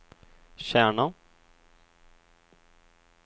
Kärna